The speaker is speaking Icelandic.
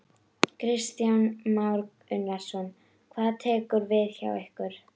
Kristján Már Unnarsson: Hvað tekur við hjá ykkur?